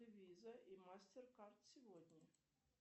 виза и мастер кард сегодня